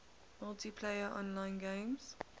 multiplayer online games